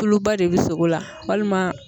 Tuluba de bɛ sogo la walima